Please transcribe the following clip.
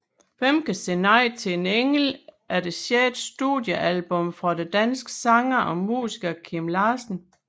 Hvem kan sige nej til en engel er det sjette studiealbum fra den danske sanger og musiker Kim Larsen